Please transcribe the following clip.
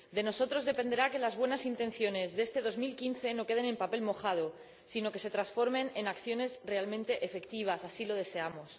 De nosotros dependerá que las buenas intenciones de este 2015 no se queden en papel mojado, sino que se transformen en acciones realmente efectivas. Así lo deseamos.